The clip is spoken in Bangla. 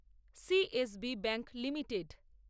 CSB bank limited